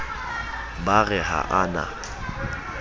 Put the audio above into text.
ba re ha a na